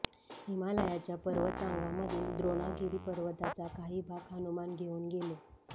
हिमालयाच्या पर्वतरागांमधील द्रोणागिरी पर्वताचा काही भाग हनुमान घेऊन गेले